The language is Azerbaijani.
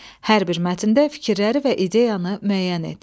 Hər bir mətndə fikirləri və ideyanı müəyyən et.